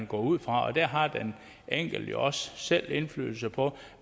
gå ud fra der har den enkelte jo også selv indflydelse på